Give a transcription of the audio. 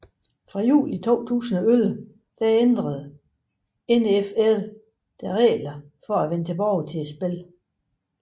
Fra juli 2011 ændrede NFL deres regler for at vende tilbage til spil